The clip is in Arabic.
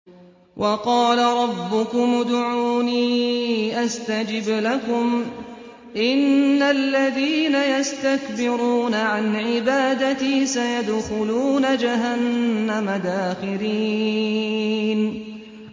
وَقَالَ رَبُّكُمُ ادْعُونِي أَسْتَجِبْ لَكُمْ ۚ إِنَّ الَّذِينَ يَسْتَكْبِرُونَ عَنْ عِبَادَتِي سَيَدْخُلُونَ جَهَنَّمَ دَاخِرِينَ